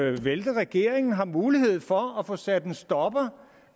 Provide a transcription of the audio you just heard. at vælte regeringen har mulighed for at få sat en stopper